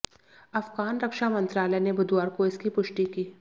अफगान रक्षा मंत्रालय ने बुधवार को इसकी पुष्टि की